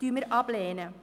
Dies lehnen wir ab.